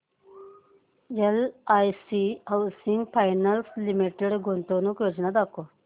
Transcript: LIC housing finance limited गुंतवणूक योजना दाखव